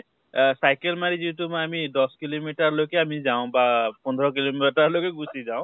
আহ cycle মাৰি যিটো আমি দশ kilo meter লৈকে আমি যাওঁ বা পোন্ধৰ kilo meter লৈকে গুছি যাওঁ